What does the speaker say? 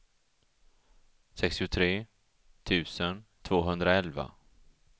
sextiotre tusen tvåhundraelva